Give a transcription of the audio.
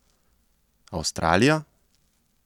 Avstralija?